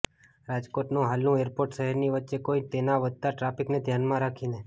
રાજકોટનું હાલનું એરપોર્ટ શહેરની વચ્ચે હોઇ તેના વધતા ટ્રાફિકને ધ્યાનમાં રાખીને